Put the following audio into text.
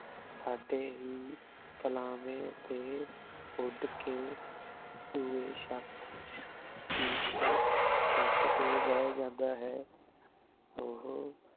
ਸਾਡੇ ਹੀ ਫਾਲਾਵ੍ਯ ਤੇ ਉੜ ਕੇ ਦੋਵੇ ਸ਼ਕ ਸ਼ਾਤੀਰ ਤੇ ਸ਼ਤ ਤੇ ਬੇਹ ਜਾਂਦਾ ਹੈ ਓਹੋ